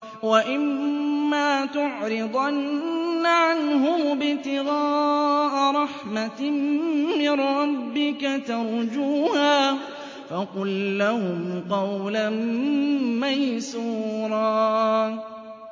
وَإِمَّا تُعْرِضَنَّ عَنْهُمُ ابْتِغَاءَ رَحْمَةٍ مِّن رَّبِّكَ تَرْجُوهَا فَقُل لَّهُمْ قَوْلًا مَّيْسُورًا